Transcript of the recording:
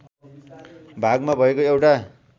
भागमा भएको एउटा